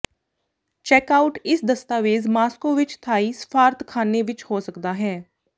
check out ਇਸ ਦਸਤਾਵੇਜ਼ Moscow ਵਿੱਚ ਥਾਈ ਸਫਾਰਤਖਾਨੇ ਵਿਚ ਹੋ ਸਕਦਾ ਹੈ